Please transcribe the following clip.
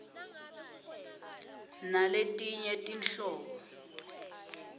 nesnz naletinye tinhlobo